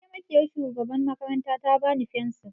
Mataimakiyar shugaban makaranta ta bani fensir.